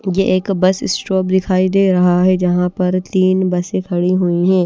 ये एक bus stop दिखाई दे रहा है जहां पर तीन बसे खड़ी हुई है।